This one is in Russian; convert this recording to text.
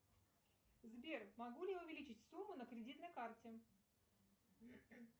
сбер могу ли я увеличить сумму на кредитной карте